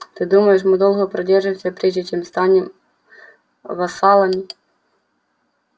ты думаешь мы долго продержимся прежде чем станем вассалами